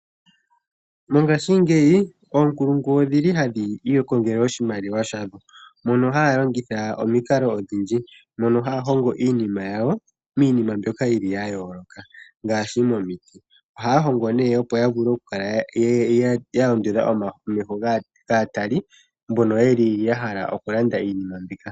Mongashingeyi oonkulungu odhili hadhi ikongele oshimaliwa shadho. Moka haya longitha omiikalo odhindji mono haya hongo iinima yawo miinima mboka yili yayoloka ngaashi momiti ohaya hongo nee opo ya vule kukala ya ondodha omeho gaatali mbono yeli yahala kulanda iinima mbika .